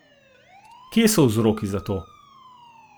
Kje so vzroki za to?